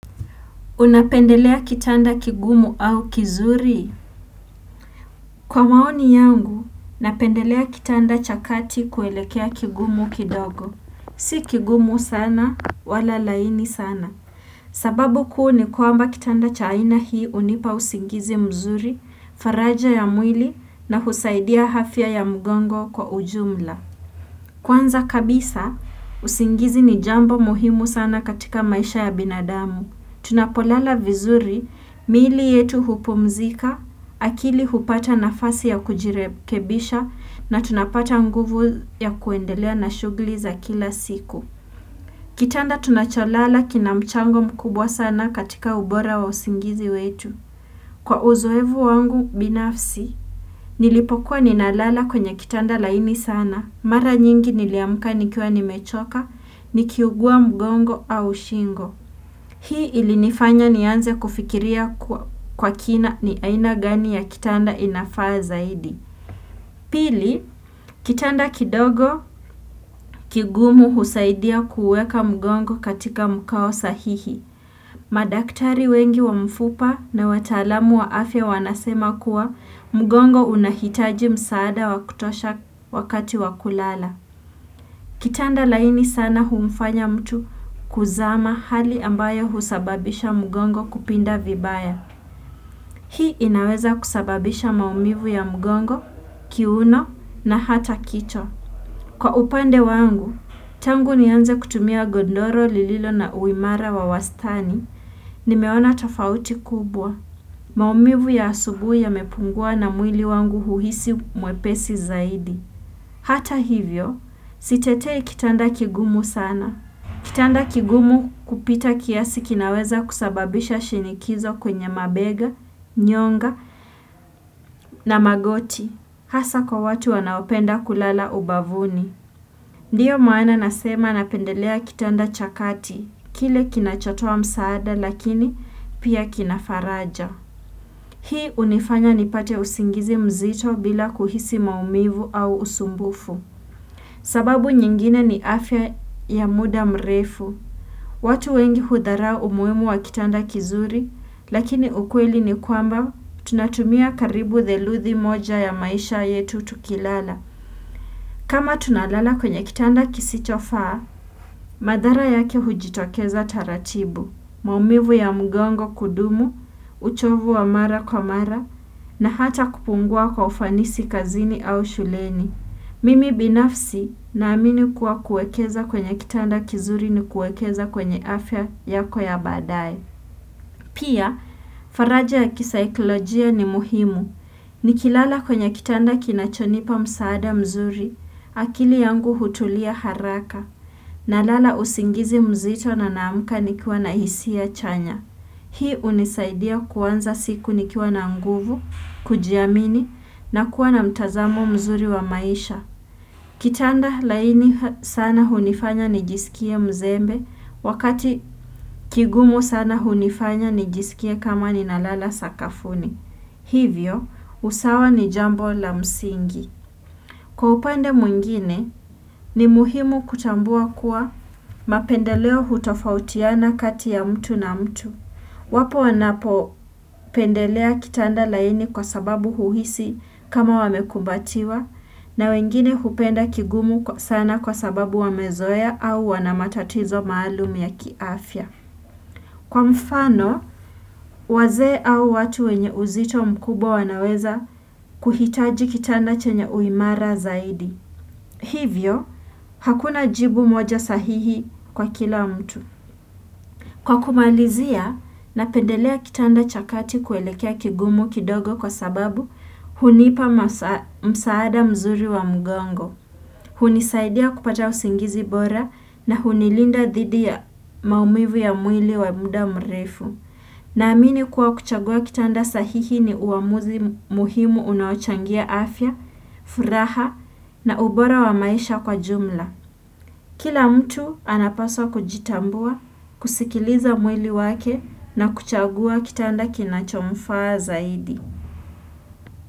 Unapendelea kitanda kigumu au kizuri? Kwa maoni yangu, napendelea kitanda cha kati kuelekea kigumu kidogo. Si kigumu sana, wala laini sana. Sababu kuu ni kwamba kitanda cha aina hii unipa usingizi mzuri, faraja ya mwili na husaidia hafia ya mgongo kwa ujumla. Kwanza kabisa, usingizi ni jambo muhimu sana katika maisha ya binadamu. Tunapolala vizuri, miili yetu hupumzika, akili hupata nafasi ya kujirekebisha na tunapata nguvu ya kuendelea na shugli za kila siku. Kitanda tunacholala kina mchango mkubwa sana katika ubora wa usingizi wetu. Kwa uzoevu wangu binafsi, nilipokuwa ninalala kwenye kitanda laini sana, mara nyingi niliamka nikiwa nimechoka, nikiugua mgongo au shingo. Hii ili nifanya ni anze kufikiria kwa kina ni aina gani ya kitanda inafaa zaidi. Pili, kitanda kidogo kigumu husaidia kuweka mgongo katika mkao sahihi. Madaktari wengi wa mfupa na wataalamu wa afya wanasema kuwa mgongo unahitaji msaada wakutosha wakati wakulala. Kitanda laini sana humfanya mtu kuzama hali ambayo husababisha mgongo kupinda vibaya. Hii inaweza kusababisha maumivu ya mgongo, kiuno na hata kicho. Kwa upande wangu, tangu nianze kutumia godoro, lililo na uimara wa wastani, nimeona tofauti kubwa. Maumivu ya asubui ya mepungua na mwili wangu huhisi mwepesi zaidi. Hata hivyo, sitetei kitanda kigumu sana. Kitanda kigumu kupita kiasi kinaweza kusababisha shinikizo kwenye mabega, nyonga na magoti. Hasa kwa watu wanaopenda kulala ubavuni. Ndiyo maana nasema napendelea kitanda cha kati. Kile kinachotoa msaada lakini pia kinafaraja. Hii unifanya nipate usingizi mzito bila kuhisi maumivu au usumbufu. Sababu nyingine ni afya ya muda mrefu. Watu wengi hudharau umuhimu wa kitanda kizuri, lakini ukweli ni kwamba tunatumia karibu theluthi moja ya maisha yetu tukilala. Kama tunalala kwenye kitanda kisichofaa, madhara yake hujitokeza taratibu. Maumivu ya mgongo kudumu, uchovu wa mara kwa mara, na hata kupungua kwa ufanisi kazini au shuleni. Mimi binafsi na amini kuwa kuekeza kwenye kitanda kizuri ni kuekeza kwenye afya yako ya baadaye. Pia, faraja ya kisaikolojia ni muhimu. Ni kilala kwenye kitanda kinachonipa msaada mzuri, akili yangu hutulia haraka. Nalala usingizi mzito na naamka nikiwa na hisia chanya. Hii unisaidia kuanza siku nikiwa na nguvu, kujiamini na kuwa na mtazamo mzuri wa maisha. Kitanda laini sana hunifanya nijisikie mzembe wakati kigumu sana hunifanya nijisikie kama ni nalala sakafuni. Hivyo, usawa ni jambo la msingi. Kwa upande mwingine, ni muhimu kutambua kuwa mapendeleo hutofautiana kati ya mtu na mtu. Wapo wanapo pendelea kitanda laini kwa sababu huhisi kama wamekumbatiwa na wengine hupenda kigumu sana kwa sababu wamezoea au wanamatatizo maalum ya kiafya. Kwa mfano, wazee au watu wenye uzito mkubwa wanaweza kuhitaji kitanda chenye uimara zaidi. Hivyo, hakuna jibu moja sahihi kwa kila mtu. Kwa kumalizia, napendelea kitanda chakati kuelekea kigumu kidogo kwa sababu hunipa msaada mzuri wa mgongo. Hunisaidia kupata usingizi bora na hunilinda dhidi ya maumivu ya mwili wa muda mrefu. Na amini kuwa kuchagua kitanda sahihi ni uamuzi muhimu unaochangia afya, furaha na ubora wa maisha kwa jumla. Kila mtu anapaswa kujitambua, kusikiliza mwili wake na kuchagua kitanda kinachomfaa zaidi.